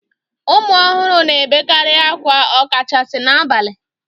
Ụmụ ọhụrụ na-ebekarị akwa ọkachasi n'abalị